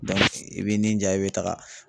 i b'i nin ja i bɛ taga